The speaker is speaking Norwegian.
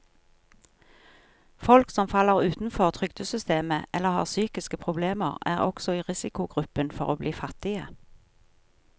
Folk som faller utenfor trygdesystemet eller har psykiske problemer, er også i risikogruppen for å bli fattige.